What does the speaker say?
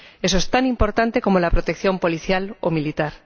Eso es tan importante como la protección policial o militar.